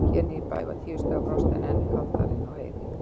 Hér niðri í bæ var tíu stiga frost og enn kaldara inni í Heiði.